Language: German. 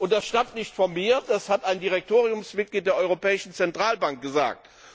Das stammt nicht von mir, das hat ein Direktoriumsmitglied der Europäischen Zentralbank gesagt.